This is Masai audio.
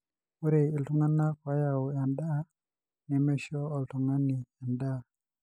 ore iltungana oyau endaa nemeisho oltungani endaa.